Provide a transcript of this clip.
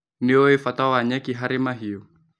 Nĩũĩ bata wa nyeki harĩ mahiũ.